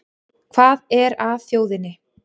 Hvað er að þjóðinni